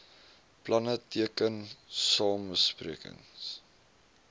planne teken samesprekings